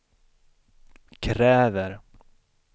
kräver